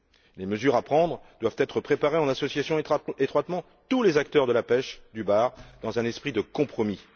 Les mesures à prendre doivent être préparées en associant étroitement tous les acteurs de la pêche du bar, dans un esprit de compromis.